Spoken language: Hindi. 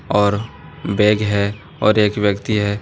और बैग है और एक व्यक्ति है।